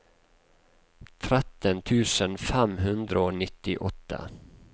tretten tusen fem hundre og nittiåtte